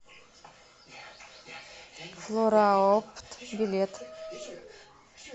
флораопт билет